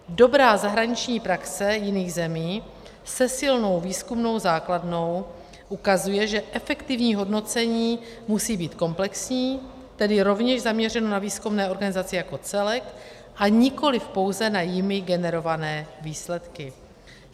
Dobrá zahraniční praxe jiných zemí se silnou výzkumnou základnou ukazuje, že efektivní hodnocení musí být komplexní, tedy rovněž zaměřené na výzkumné organizace jako celek a nikoliv pouze na jimi generované výsledky.